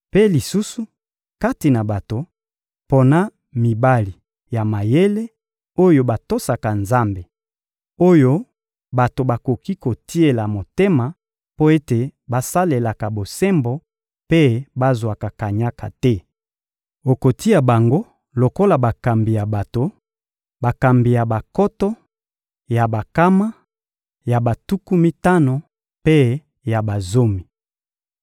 Mpe lisusu, kati na bato, pona mibali ya mayele, oyo batosaka Nzambe, oyo bato bakoki kotiela motema mpo ete basalelaka bosembo mpe bazwaka kanyaka te. Okotia bango lokola bakambi ya bato: bakambi ya bankoto, ya bankama, ya batuku mitano mpe ya bazomi.